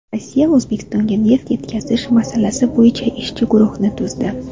Rossiya O‘zbekistonga neft yetkazish masalasi bo‘yicha ishchi guruhi tuzdi.